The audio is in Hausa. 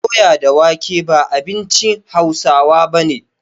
Doya da wake ba abinci Hausawa bane